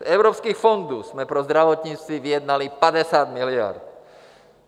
Z evropských fondů jsme pro zdravotnictví vyjednali 50 miliard.